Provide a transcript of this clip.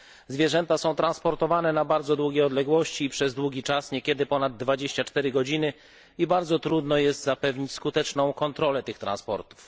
Zwierzęta są transportowane na bardzo długie odległości, przez długi czas niekiedy ponad 24 godziny i bardzo trudno jest zapewnić skuteczną kontrolę tych transportów.